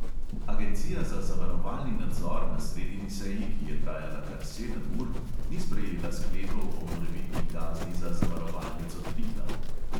Agencija za zavarovalni nadzor na sredini seji, ki je trajala kar sedem ur, ni sprejela sklepov o morebitni kazni za zavarovalnico triglav.